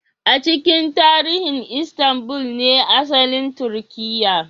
A cikin tarihi Istanbul ne asalin Turkiyya